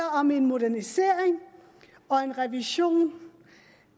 om en modernisering og en revision